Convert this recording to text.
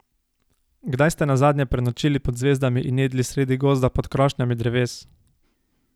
Kdaj ste nazadnje prenočili pod zvezdami in jedli sredi gozda pod krošnjami dreves?